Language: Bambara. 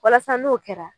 Walasa n'o kɛra